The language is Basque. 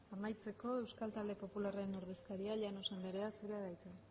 amaitzeko euskal talde popularraren ordezkaria llanos andrea zurea da hitza